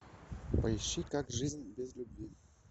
поищи как жизнь без любви